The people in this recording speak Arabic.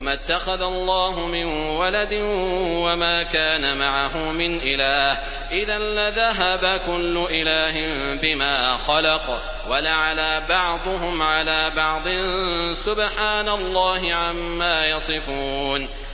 مَا اتَّخَذَ اللَّهُ مِن وَلَدٍ وَمَا كَانَ مَعَهُ مِنْ إِلَٰهٍ ۚ إِذًا لَّذَهَبَ كُلُّ إِلَٰهٍ بِمَا خَلَقَ وَلَعَلَا بَعْضُهُمْ عَلَىٰ بَعْضٍ ۚ سُبْحَانَ اللَّهِ عَمَّا يَصِفُونَ